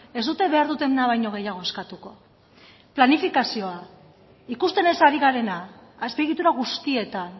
ez dute behar dutena baino gehiago eskatuko planifikazioa ikusten ez ari garena azpiegitura guztietan